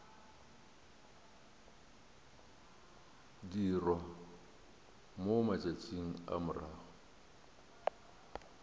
dirwa mo matšatšing a morago